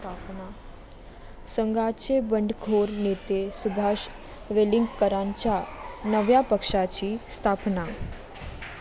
संघाचे बंडखोर नेते सुभाष वेलिंगकरांच्या नव्या पक्षाची स्थापना